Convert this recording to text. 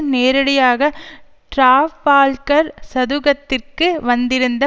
நேரடியாக டிராபால்கர் சதுக்கத்திற்கு வந்திருந்த